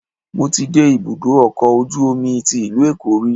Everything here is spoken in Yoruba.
Mo ti dé ibùdó ọkọ̀ ojú omi tí ìlú Èkó rí.